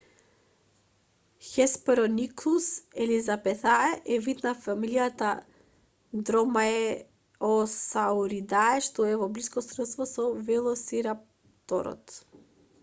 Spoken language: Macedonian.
hesperonychus elizabethae е вид од фамилијата dromaeosauridae што е во блиско сродство со велосирапторот